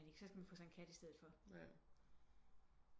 Så skal man få sig en kat i steder for